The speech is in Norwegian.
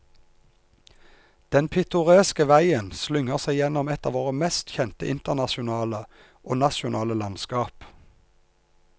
Den pittoreske veien slynger seg gjennom et av våre mest kjente internasjonale og nasjonale landskap.